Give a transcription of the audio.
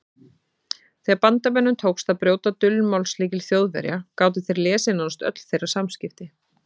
Þegar Bandamönnum tókst að brjóta dulmálslykil Þjóðverja gátu þeir lesið nánast öll þeirra samskipti.